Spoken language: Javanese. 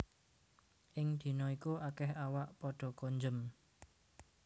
Ing dina iku akèh awak padha konjem